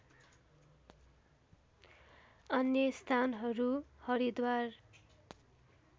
अन्य स्थानहरू हरिद्वार